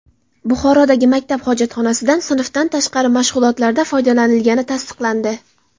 Buxorodagi maktab hojatxonasidan sinfdan tashqari mashg‘ulotlarda foydalanilgani tasdiqlandi.